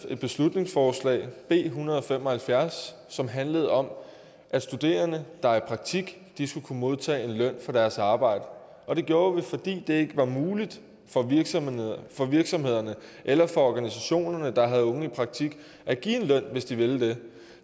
et beslutningsforslag b en hundrede og fem og halvfjerds som handlede om at studerende der er i praktik skulle kunne modtage løn for deres arbejde det gjorde vi fordi det ikke var muligt for virksomhederne for virksomhederne eller for organisationerne der havde unge i praktik at give en løn hvis de ville det